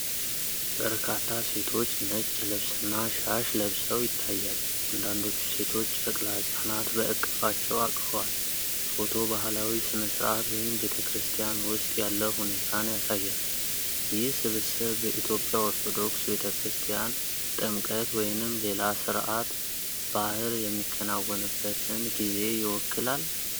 በርካታ ሴቶች ነጭ ልብስና ሻሽ ለብሰው ይታያሉ። አንዳንዶቹ ሴቶች ጨቅላ ህጻናት በእቅፋቸው አቅፈዋል። ፎቶው ባህላዊ ሥነ ሥርዓት ወይም ቤተ ክርስቲያን ውስጥ ያለ ሁኔታን ያሳያል። ይህ ስብስብ በኢትዮጵያ ኦርቶዶክስ ቤተ ክርስቲያን ጥምቀት ወይንም ሌላ ሥርዓተ ባህር የሚከናወንበትን ጊዜ ይወክላል?